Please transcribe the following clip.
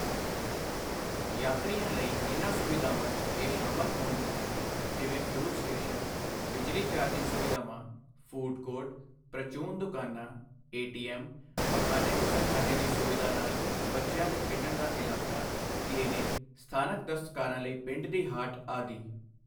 ਯਾਤਰੀਆਂ ਲਈ ਇਨ੍ਹਾਂ ਸੁਵਿਧਾਵਾਂ 'ਚ ਇਹ ਸ਼ਾਮਿਲ ਹੋਣਗੀਆਂ ਜਿਵੇਂ ਫ਼ਿਊਏਲ ਸਟੇਸ਼ਨ, ਬਿਜਲੀ ਚਾਰਜਿੰਗ ਸੁਵਿਧਾਵਾ, ਫ਼ੂਡ ਕੋਰਟ, ਪ੍ਰਚੂਨ ਦੁਕਾਨਾਂ, ਏਟੀਐੱਮ, ਪਖਾਨੇ ਗੁਸਲਖਾਨੇ ਦੀ ਸੁਵਿਧਾ ਨਾਲ, ਬੱਚਿਆਂ ਦੇ ਖੇਡਣ ਦਾ ਇਲਾਕਾ, ਕਲੀਨਿਕ, ਸਥਾਨਕ ਦਸਤਕਾਰਾਂ ਲਈ ਪਿੰਡ ਦੀ ਹਾਟ ਆਦਿ।